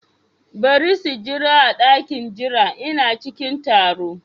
Bari su jira a dakin jira, Ina cikin taro.